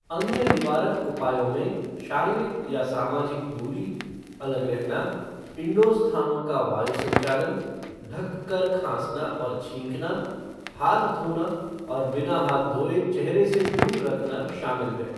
अन्य निवारक उपायों में शारीरिक या सामाजिक दूरी, अलग रहना, इनडोर स्थानों का वायु संचालन, ढककर खाँसना और छींकना , हाथ धोना और बिना हाथ धोए चेहरे से दूर रखना शामिल है।